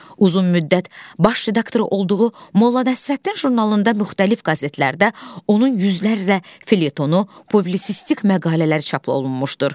Uzun müddət baş redaktoru olduğu Molla Nəsrəddin jurnalında müxtəlif qəzetlərdə onun yüzlərlə felyetonu, publisistik məqalələri çap olunmuşdur.